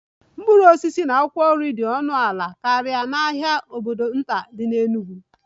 Mkpụrụ osisi na akwụkwọ nri dị ọnụ ala karịa n'ahịa obodo nta dị n'Enugwu